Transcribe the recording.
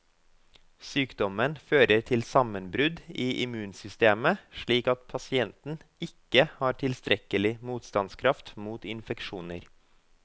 Sykdommen fører til sammenbrudd i immunsystemet, slik at pasienten ikke har tilstrekkelig motstandskraft mot infeksjoner.